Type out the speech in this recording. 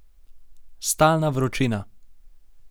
Stalna vročina.